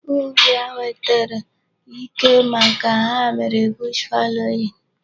Ubi a nwetere ike maka ha mere bush fallowing.